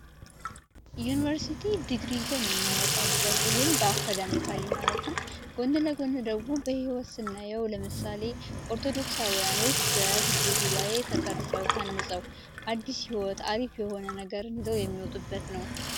ዩኒቨርስቲ ዲግሪ ይዘን የምንወጣበት፤ ይህም በአካዳሚክ ትምህርት ማለት ነው። ጎን ለጎን ስናየው ደግሞ ለምሳሌ ኦርቶዶክሳውያን በግቢ ጉባኤ ተቀርፀው ታንፀው አዲስ የሆነ አርፊ የሆነ ህይወትን ይዘው የሚወጡበት ነው።